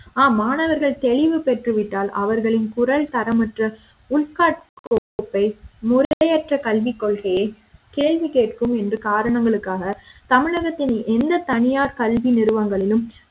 மாணவர்கள் தெளிவு பெற்று விட்டால் அவர்களின் குரல் தரமற்ற உட்கட்கோப்பை முறையற்ற கல்வி கொள்கையை கேள்விகேட்கும் என்ற காரணங்களுக்காக தமிழக த்தின் எந்த தனியார் கல்வி நிறுவனங்களிலும்